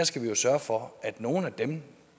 skal sørge for at nogle af dem